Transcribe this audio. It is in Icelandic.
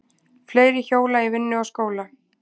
Fleiri hjóla í vinnu og skóla